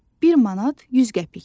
Bir manat 100 qəpikdir.